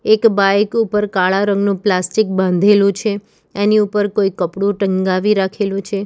એક બાઈક ઉપર કાળા રંગનું પ્લાસ્ટિક બાંધેલો છે એની ઉપર કોઈ કપડું ટંગાવી રાખેલું છે.